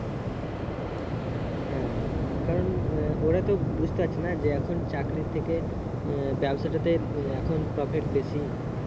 হুম কারণ আহ ওরা তো বুজতে পারছে না যে এখন চাকরির থেকে আহ ব্যবসা টা তে আহ এখন profit বেশি